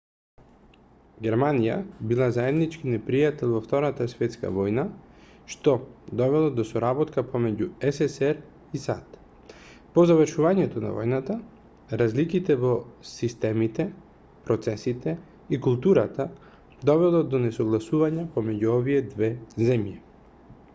германија била заеднички непријател во втората светска војна што довело до соработка помеѓу ссср и сад по завршувањето на војната разликите во системите процесите и културата довело до несогласувањата помеѓу овие две земји